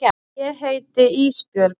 Ég heiti Ísbjörg.